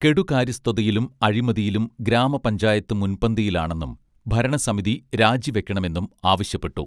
കെടുകാര്യസ്ഥതയിലും അഴിമതിയിലും ഗ്രാമപഞ്ചായത്ത് മുൻപന്തിയിലാണെന്നും ഭരണസമിതി രാജിവയ്ക്കണമെന്നും ആവശ്യപ്പെട്ടു